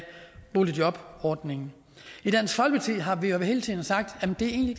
boligjobordningen i dansk folkeparti har vi hele tiden sagt at det egentlig